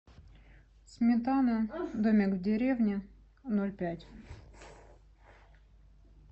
сметана домик в деревне ноль пять